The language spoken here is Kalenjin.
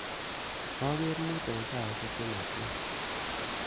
Koker mut eng saisiek che matya